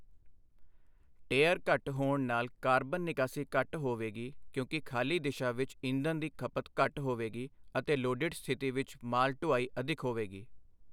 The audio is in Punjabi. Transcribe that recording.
ਟੇਅਰ ਘੱਟ ਹੋਣ ਨਾਲ ਕਾਰਬਨ ਨਿਕਾਸੀ ਘੱਟ ਹੋਵੇਗੀ ਕਿਉਂਕਿ ਖਾਲੀ ਦਿਸ਼ਾ ਵਿੱਚ ਈਧਨ ਦੀ ਖਪਤ ਘੱਟ ਹੋਵੇਗੀ ਅਤੇ ਲੋਡਿਡ ਸਥਿਤੀ ਵਿੱਚ ਮਾਲ ਢੁਆਈ ਅਧਿਕ ਹੋਵੇਗੀ।